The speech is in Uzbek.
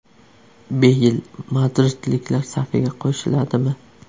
Beyl madridliklar safiga qo‘shiladimi?.